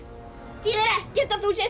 þýðir ekkert að þú sért